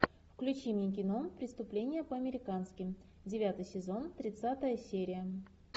включи мне кино преступление по американски девятый сезон тридцатая серия